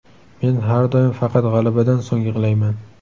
Men har doim faqat g‘alabadan so‘ng yig‘layman.